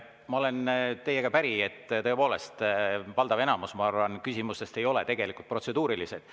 Ma olen teiega päri, et tõepoolest, valdav enamus küsimustest ei ole tegelikult protseduurilised.